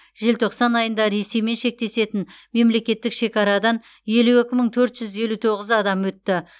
желтоқсан айында ресеймен шектесетін мемлекеттік шекарадан елу екі мың төрт жүз елу тоғыз адам өтті